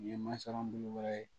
Nin ye masaran belebeleba ye